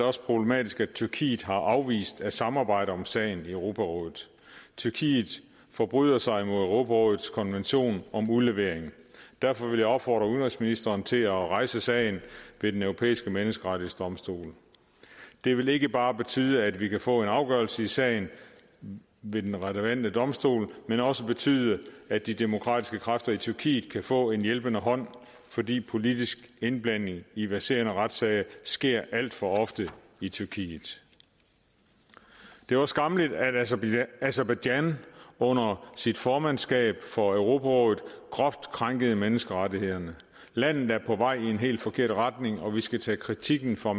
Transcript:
også problematisk at tyrkiet har afvist at samarbejde om sagen i europarådet tyrkiet forbryder sig imod europarådets konvention om udlevering derfor vil jeg opfordre udenrigsministeren til at rejse sagen ved den europæiske menneskerettighedsdomstol det vil ikke bare betyde at vi kan få en afgørelse i sagen ved den relevante domstol men også betyde at de demokratiske kræfter i tyrkiet kan få en hjælpende hånd fordi politisk indblanding i verserende retssager sker alt for ofte i tyrkiet det var skammeligt at aserbajdsjan under sit formandskab for europarådet groft krænkede menneskerettighederne landet er på vej i en helt forkert retning og vi skal tage kritikken fra